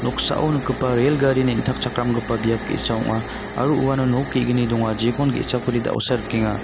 noksao nikgipa rel gari neng·takchakramgipa biap ge·sa ong·a aro uano nok ge·gni donga jekon ge·sakode da·osa rikenga.